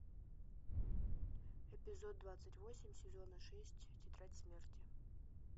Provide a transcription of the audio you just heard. эпизод двадцать восемь сезона шесть тетрадь смерти